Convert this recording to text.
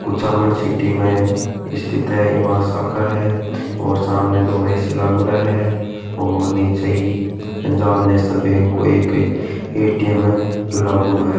Kuchaman city में स्थित है ईम आ शाखा है और सामने दो ए.सी. लागोड़ा है और नीचे ही पंजाब नेशनल बैंक को एक ए.टी.एम लागोड़ा है।